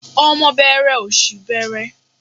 Ọmọ bẹẹrẹ òṣì bẹẹrẹ.